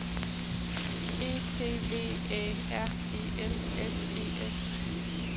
E T V Æ R E L S E S